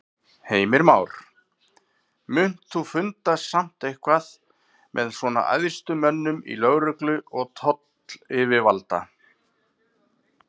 Heimir Már: Munt þú funda samt eitthvað með svona æðstu mönnum í lögreglu og tollayfirvalda?